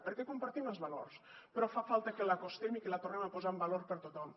perquè compartim els valors però fa falta que l’acostem i que la tornem a posar en valor per tothom